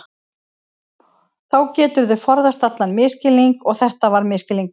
Þá geturðu forðast allan misskilning og þetta var misskilningur.